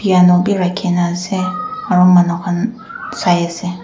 bhi rakhi kini ase aru manu khan sai ase.